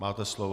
Máte slovo.